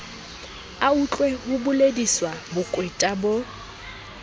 autlwe ho bolediswa bokweta bo